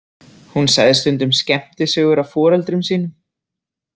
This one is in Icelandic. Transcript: Hún sagði stundum skemmtisögur af foreldrum sínum.